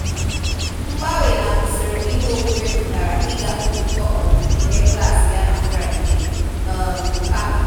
Mgbanwe na usoro ihe omume pụtara ịga nzukọ ọmụmụ ihe klaasị ya na Friday um kama